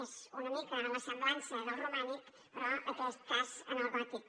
és una mica la semblança del romànic però en aquest cas en el gòtic